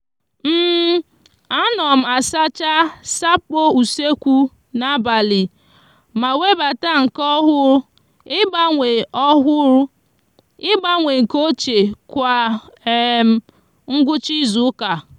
a no m asacha sapo usekwu na abali ma webata nke ohuru igbanwe ohuru igbanwe nke ochie kwa um ngwucha izuuka